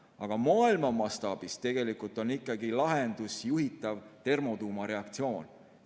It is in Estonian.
Aga maailma mastaabis on ikkagi lahendus juhitav termotuumareaktsioon.